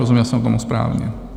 Rozuměl jsem tomu správně?